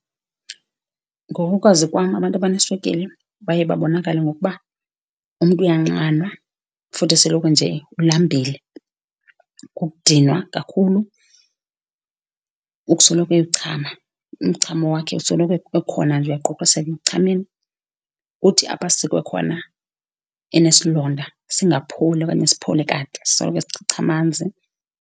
Ngokokwazi kwam, abantu abaneswekile baye babonakale ngokuba umntu uyanxanwa, futhi esoloko nje ulambile. Kukudinwa kakhulu, ukusoloko eyochama, umchamo wakhe usoloko ekhona nje, uyaquqiseka ekuchameni. Uthi apho asikwe khona enesilonda singapholi, okanye siphole kade, sisoloko sichicha amanzi.